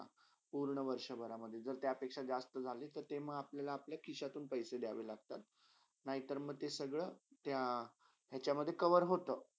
पुर्ण वर्षभरामधे जर त्यापेक्षा जस्त झाली ते म अपल्याला अपल्या खिशतुन पैसे दियावे लागतात नी तर म ते सगळा याच्यामधे cover होता.